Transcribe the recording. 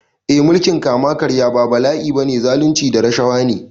Eh mulkin kama karya ba bala’i ba ne, zalunci da rashawa ne.